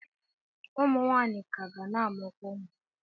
Ụmụ nwaanyị ka ga na-amụkwa ụmụ.